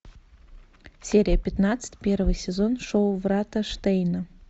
серия пятнадцать первый сезон шоу врата штейна